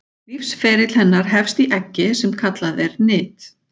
Lífsferill hennar hefst í eggi sem kallað er nit.